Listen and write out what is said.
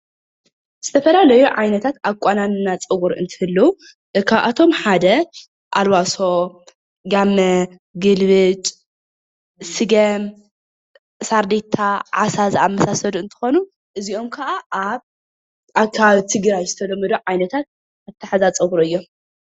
ዝተፈላለዩ ዓይነታት ኣቆናንና ፀጉሪ እንትህልው ካብኣቶም ሓደ ኣልባሶ፣ ጋመ ፣ግልብጭ፣ ስገም ፣ሳርዴታ ፣ዓሳ ዝኣምሰሉ እንትኾኑ እዝይኦም ከዓ ኣብ ኣከባቢ ትግራይ ዝተለመዱ ዓይነታት ኣትሓዛ ፀጉሪ እዮም።